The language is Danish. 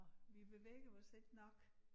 Vi bevæger os ikke nok